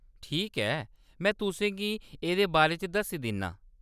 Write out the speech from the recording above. ठीक ऐ, में तुसें गी एह्‌‌‌दे बारे च दस्सी दिन्नां।